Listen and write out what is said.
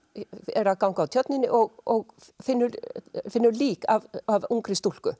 er að ganga á tjörninni og finnur finnur lík af ungri stúlku